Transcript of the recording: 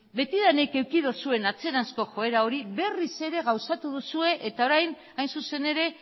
betidanik eduki duzuen atzeranzko joera hori berriz ere gauzatu duzue eta orain hain zuzen ere